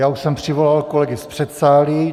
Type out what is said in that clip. Já už jsem přivolal kolegy z předsálí.